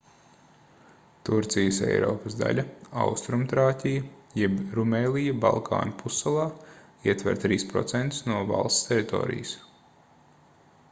turcijas eiropas daļa austrumtrāķija jeb rumēlija balkānu pussalā ietver 3% no valsts teritorijas